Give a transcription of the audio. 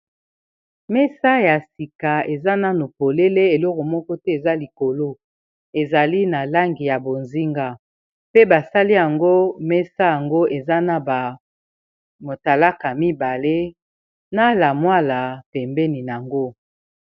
mesa ya sika eza nano polele eloko moko te eza likolo ezali na langi ya bozinga pe basali yango mesa yango eza na ba motalaka mibale na lamwala tembeni yango